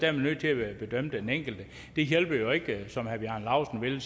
er man nødt til at bedømme den enkelte det hjælper jo ikke at som herre bjarne laustsen vælger